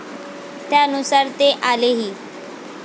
त्यानुसार ते आलेही.